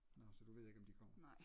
Nåh så du ved ikke om de kommer